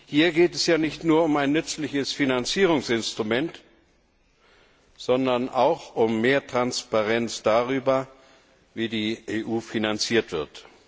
Hier geht es ja nicht nur um ein nützliches Finanzierungsinstrument, sondern auch um mehr Transparenz darüber, wie die EU finanziert wird.